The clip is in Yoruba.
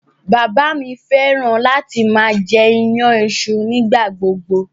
Bàbá mi fẹ́ràn láti máa jẹ iyan iṣu nígbà gbogbo.